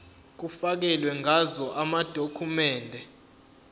kufakelwe ngazo amadokhumende